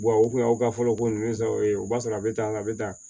o kun y'aw ka fɔlɔ ko nunnu sa o ye o b'a sɔrɔ a be tan a be tan